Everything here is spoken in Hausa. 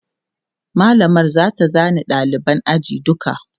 mallamar zata zana ɗaliban ajin duka